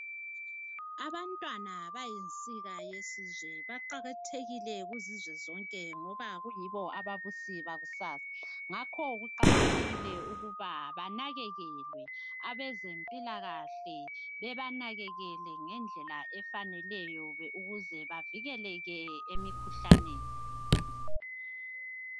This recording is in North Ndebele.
Abantwana bayinsika yesizwe. Baqakathekile kuzizwe zonke ngoba kuyibo ababusi bakusasa. Ngakho kuqakathekile ukuba banakekelwe. Abezempilakahle bebanakekele ngendlela efaneleyo ukuze bavikeleke emikhuhlaneni.